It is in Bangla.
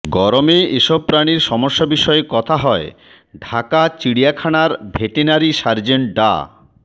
গরমে এসব প্রাণির সমস্যা বিষয়ে কথা হয় ঢাকা চিড়িয়াখানার ভেটেরিনারি সার্জন ডা